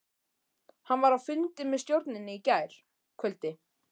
Hann var á fundi með stjórninni í gærkvöldi.